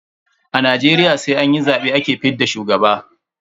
A Najeriya sai an yi zabe ake fidda shugaba.